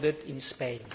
in Spain